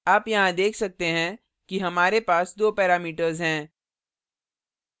आप यहाँ देख सकते हैं कि हमारे पास दो parameters हैं